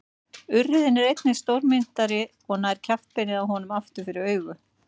Urriðinn er einnig stórmynntari og nær kjaftbeinið á honum aftur fyrir augun.